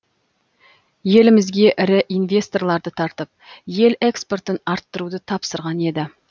елімізге ірі инвесторларды тартып ел экспортын арттыруды тапсырған еді